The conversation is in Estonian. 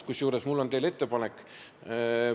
Kusjuures mul on teile ettepanek.